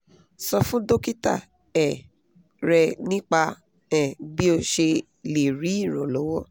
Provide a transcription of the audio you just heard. sọ fún dókítà um rẹ nípa um bí o ṣe lè rí ìrànlọ́wọ́